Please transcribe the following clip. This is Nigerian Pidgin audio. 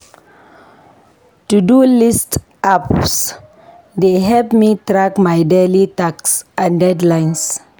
To-do list apps dey help me track my daily tasks and deadlines.